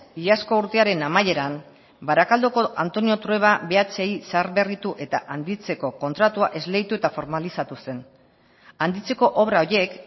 iazko urtearen amaieran barakaldoko antonio trueba bhi zaharberritu eta handitzeko kontratua esleitu eta formalizatu zen handitzeko obra horiek